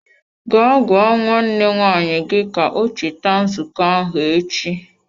Gaa gwa nwanne nwaanyị gi ka o cheta nzuko ahụ echi!